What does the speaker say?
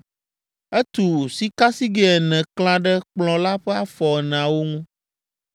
Etu sikasigɛ ene klã ɖe Kplɔ̃ la ƒe afɔ eneawo ŋu.